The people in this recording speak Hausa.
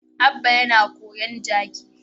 Abba yana kowin kaji.